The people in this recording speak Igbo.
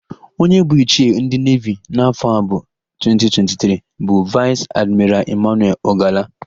Onye bụ ichie ndị nevi n'afọ a bụ 2023 bụ Vaịs Admiral Ịmanuel Ọgala.